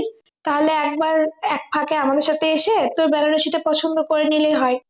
তাহলে একবার এক ফাঁকে আমাদের সাথে এসে তোর বেনারসিটা পছন্দ করে নিলেই হয়